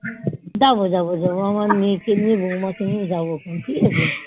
যাবো যাবো যাবো আমার মেয়ে কে নিয়ে বৌমা কে নিয়ে যাবো